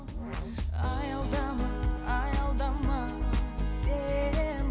аялдама аялдама сен